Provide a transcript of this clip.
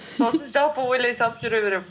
сол үшін жалпы ойлай салып жүре беремін